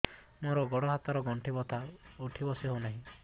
ମୋର ଗୋଡ଼ ହାତ ର ଗଣ୍ଠି ବଥା ଉଠି ବସି ହେଉନାହିଁ